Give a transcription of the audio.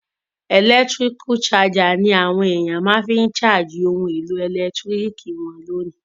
Electrical charger ni àwon èyàn ma fi n charge oun èlò ẹ̀lẹ́ntiriki won lónìí